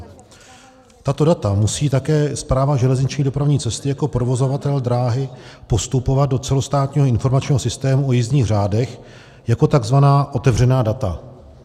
Tato data musí také Správa železniční dopravní cesty jako provozovatel dráhy postupovat do celostátního informačního systému o jízdních řádech jako takzvaná otevřená data.